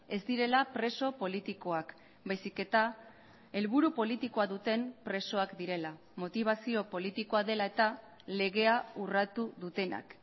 ez direla preso politikoak baizik eta helburu politikoa duten presoak direla motibazio politikoa dela eta legea urratu dutenak